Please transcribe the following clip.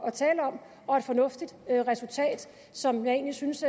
at tale om og et fornuftigt resultat som jeg egentlig synes